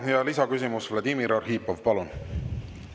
Ja lisaküsimus, Vladimir Arhipov, palun!